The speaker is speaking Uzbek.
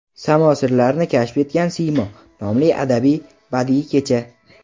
"Samo sirlarini kashf etgan siymo" nomli adabiy-badiiy kecha.